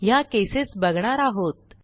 ह्या केसेस बघणार आहोत